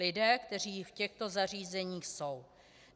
Lidé, kteří v těchto zařízeních jsou.